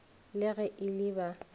le ge e le ba